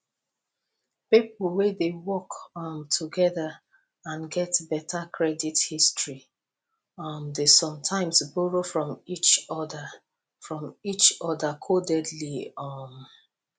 people wey dey work um together and get better credit history um dey sometimes borrow from each other from each other codedly um